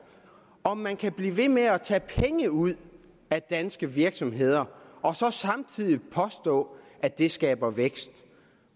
om man kan blive ved med at tage penge ud af danske virksomheder og samtidig påstå at det skaber vækst